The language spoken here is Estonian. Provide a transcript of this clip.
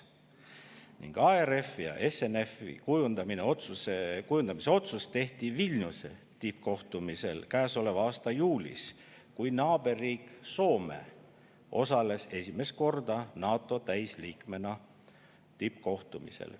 Ning ARF-i ja SNF-i kujundamise otsus tehti Vilniuse tippkohtumisel käesoleva aasta juulis, kui naaberriik Soome osales esimest korda NATO täisliikmena tippkohtumisel.